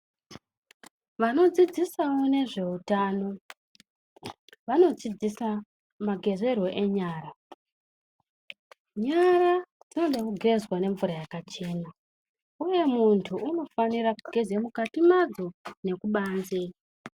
Vanodzidzisawo nezveutano vanodzidzisa magezerwo enyara nyara dzinoda kugezwa ngemvura yakachena iwewe muntu unofanire kugeze mukati mwadzo nekubanze.